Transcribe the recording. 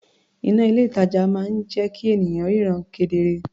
Iná ní ilé-ìtàjà máa ń jẹ́ kí ènìyàn ríran kedere.